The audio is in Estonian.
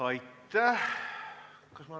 Aitäh!